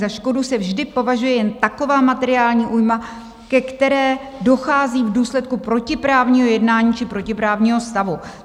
Za škodu se vždy považuje jen taková materiální újma, ke které dochází v důsledku protiprávního jednání či protiprávního stavu.